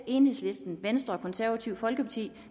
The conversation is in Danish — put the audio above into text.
enhedslisten venstre og konservative folkeparti